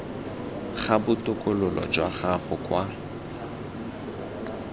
ga botokololo jwa gago kwa